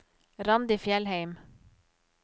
Randi Fjellheim